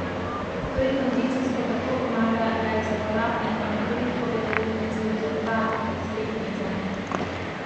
Vrednost prodaje živil in pijač, drugega najpomembnejšega trgovskega blaga v trgovini na debelo, je bila lani glede na leto prej višja za sedem odstotkov.